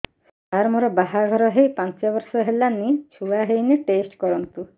ସାର ମୋର ବାହାଘର ହେଇ ପାଞ୍ଚ ବର୍ଷ ହେଲାନି ଛୁଆ ହେଇନି ଟେଷ୍ଟ କରନ୍ତୁ